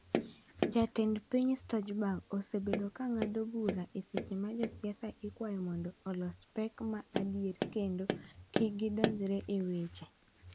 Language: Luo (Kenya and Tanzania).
Jatend piny Stojberg osebedo ka ng’ado bura e seche ma josiasa ikwayo mondo olos pek ma adier kendo kik gidonjre e weche.